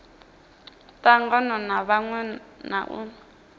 tangana na vhaṅwe na u